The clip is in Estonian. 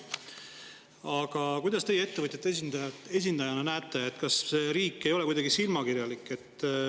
Aga kuidas teie ettevõtjate esindajana näete, kas riik ei ole kuidagi silmakirjalik?